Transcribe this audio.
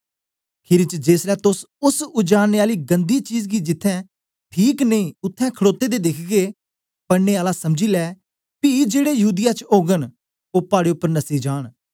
खीरी च जेसलै तोस ओस उजाड़ने आली गन्दी चीज गी जिथें ठीक नेई उत्थें खडोते दे दिखगे पढ़ने आला समझी ले पी जेड़े यहूदीया च ओगन ओ पाड़े उपर नसी जान